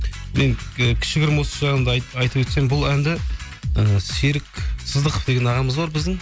кішігірім осы жайында айтып өтсем бұл әнді і серік сыздықов деген ағамыз бар біздің